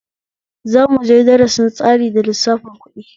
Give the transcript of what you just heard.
Za muje darasin tsari da lissafin ƙuɗi